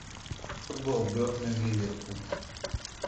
футбол бернли ливерпуль